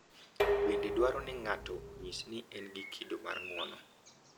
Bende dwaro ni ng’ato onyis ni en gi kido mar ng’uono,